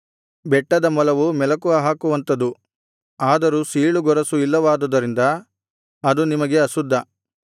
ಬೆಟ್ಟದ ಮೊಲವೂ ಮೆಲಕುಹಾಕುವಂಥದು ಆದರೂ ಸೀಳುಗೊರಸು ಇಲ್ಲವಾದುದರಿಂದ ಅದು ನಿಮಗೆ ಅಶುದ್ಧ